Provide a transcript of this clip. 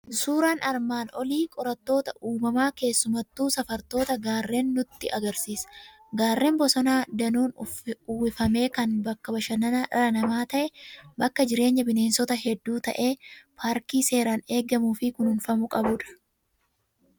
Suuraan armaan olii qorattoota uumamaa, keessumattuu safartoota garreenii nutti agarsiisa. Gaarreen bosona danuun uwwifame kan bakka bashannana dhala namaa ta'e, bakka jireenya bineensota hedduu ta'e, paarkii seeraan eegamuu fi kunuunfamuu qabudha.